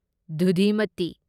ꯗꯨꯙꯤꯃꯇꯤ